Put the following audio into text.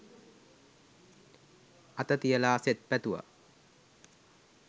අත තියලා සෙත් පැතුවා.